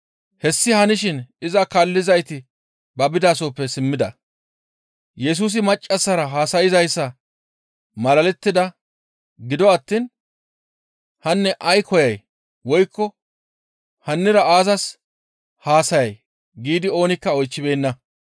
Hessi hanishin iza kaallizayti ba bidasoppe simmida. Yesusi Maccassara haasayzayssa malalettida; gido attiin, «Hanne ay koyay? Woykko hannira aazas haasayay?» giidi oonikka oychchibeenna.